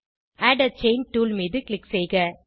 add a chain tool மீது click செய்க